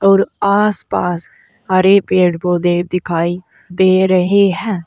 और आस पास हरे पेड़ पौधे दिखाई दे रहे है।